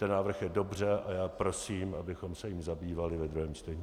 Ten návrh je dobře a já prosím, abychom se jím zabývali ve druhém čtení.